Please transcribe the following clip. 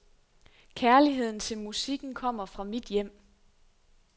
Kærligheden til musikken kommer fra mit hjem.